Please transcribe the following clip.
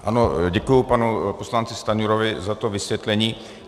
Ano, děkuji panu poslanci Stanjurovi za to vysvětlení.